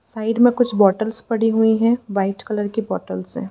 Side में कुछ bottles पड़ी हुई हैं वाइट कलर की बॉटल्स हैं।